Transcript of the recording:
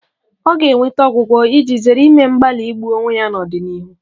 Ọ ga-enweta ọgwụgwọ iji zere ime mgbalị igbu onwe ya n'ọdịnihu